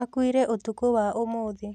Akuire ũtukũ wa ũmũthĩ